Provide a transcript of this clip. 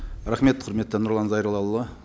рахмет құрметті нұрлан зайроллаұлы